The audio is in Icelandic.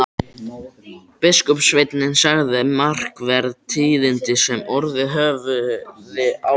Biskupssveinninn sagði markverð tíðindi sem orðið höfðu á Íslandi.